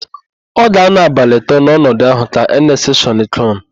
Ọ ga-anọ abalị atọ n'ọnọdụ ahụ ka Enest Shọnekọn.